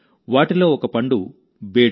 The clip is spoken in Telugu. వాటిలో ఒక పండు బేడు